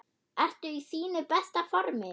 Ertu í þínu besta formi?